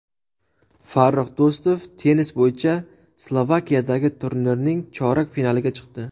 Farrux Do‘stov tennis bo‘yicha Slovakiyadagi turnirning chorak finaliga chiqdi.